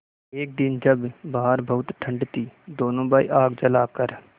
एक दिन जब बाहर बहुत ठंड थी दोनों भाई आग जलाकर